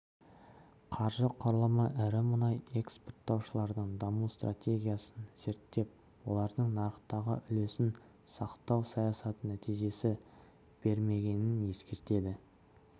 қаржы құрылымы ірі мұнай экспорттаушылардың даму стратегиясын зерттеп олардың нарықтағы үлесін сақтау саясаты нәтиже бермегенін ескертеді